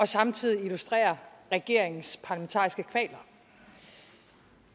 samtidig illustrerer regeringens parlamentariske kvaler